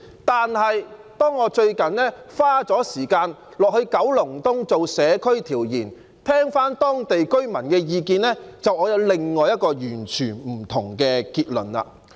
但是，當我最近花時間到九龍東進行社區調研，聽取當地居民的意見後，我卻有另外一個完全不同的結論。